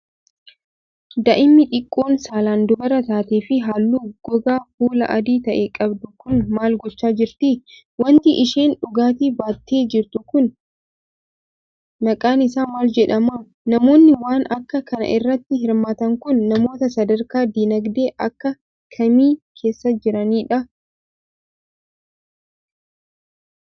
Daa'imni xiqqoon saalan dubara taatee fi haalluu gogaa fulaa adii ta'e qabdu kun ,maal gochaa jirti? Wanti isheen dugdatti baattee jirtu kun, maqaan isaa maal jedhama? Namoonni, waan akka kanaa irratti hirmaatan kun, namoota sadarkaa diinagdee akka kamii keessa jiraniidha?